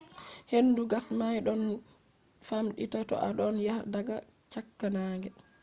hendu gas may ɗon famɗita to a ɗon daya daga cakka naange